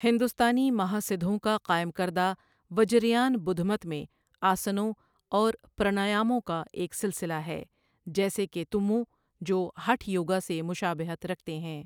ہندوستانی مہاسدھوں کا قائم کردہ وجریان بدھ مت میں آسنوں اور پرانایموں کا ایک سلسلہ ہے، جیسے کہ تُمّو، جو ہٹھ یوگا سے مشابہت رکھتے ہیں۔